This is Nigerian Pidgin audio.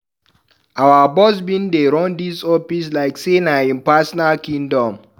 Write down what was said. Our boss don bin dey run dis office like sey na im personal kingdom.